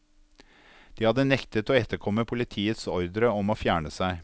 De hadde nektet å etterkomme politiets ordre om å fjerne seg.